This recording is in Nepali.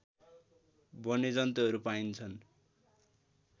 वन्यजन्तुहरू पाइन्छन्